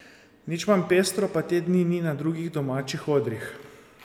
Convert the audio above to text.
Nič manj pestro pa te dni ni na drugih domačih odrih.